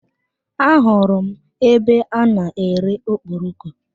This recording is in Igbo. A hụrụ m ebe a n'ere okporoko.